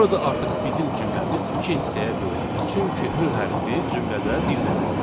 Burada artıq bizim cümləmiz iki hissəyə bölünür, çünki H hərfi cümlədə bir dənədir.